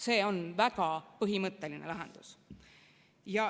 See on väga põhimõtteline lahendus.